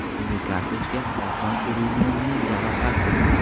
Qizil kartochka, Oston O‘runovning jarohati.